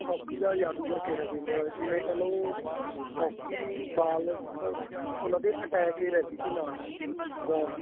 hockey ਦਾ ਜਾਦੂਗਰ ਕਿਹਾ ਜਿਵੇਂ ਕੱਲ ਉਹ hockey ball ਉਹਨਾ ਦੀ attach ਈ ਰਹਿੰਦੀ ਸੀ ਨਾਲ ball